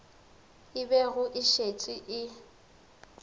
e bego e šetše e